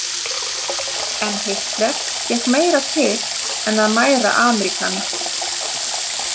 En Hitler gekk meira til en að mæra Ameríkana.